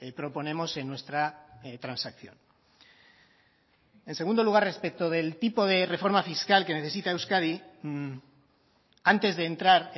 proponemos en nuestra transacción en segundo lugar respecto del tipo de reforma fiscal que necesita euskadi antes de entrar